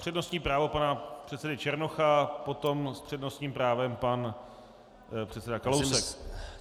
Přednostní právo pana předsedy Černocha, potom s přednostním právem pan předseda Kalousek.